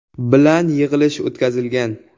bilan yig‘ilish o‘tkazilgan.